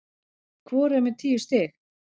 Hvor er með tíu stig